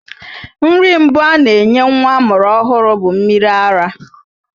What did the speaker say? Nri mbụ a na-enye nwa amụrụ ọhụrụ bụ mmiri ara,